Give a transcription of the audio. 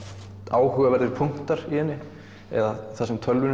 áhugaverðir punktar í henni eða það sem tölvunni